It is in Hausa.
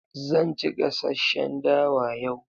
Zan ci gasasshen dawa yau.